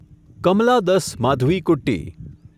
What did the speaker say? Kamala Das Madhavikutty